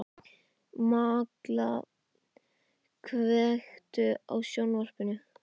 Malla, kveiktu á sjónvarpinu.